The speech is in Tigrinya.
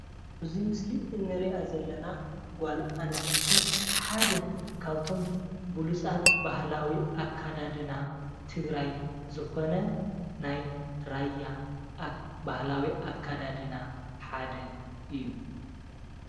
እዚ ምስሊ እንሪኣ ዘለና ጓል ኣነስተይቲ ሓደ ካብቶም ብሉፃት ባህላዊ ኣካዳድና ትግራይ ዝኮነ ናይ ራያ ባህላዊ ኣካዳድና ሓደ እዩ፡፡